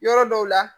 Yɔrɔ dɔw la